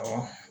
Awɔ